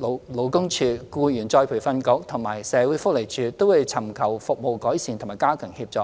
勞工處、僱員再培訓局及社會福利署，均會尋求服務改善及加強協助。